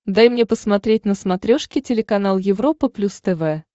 дай мне посмотреть на смотрешке телеканал европа плюс тв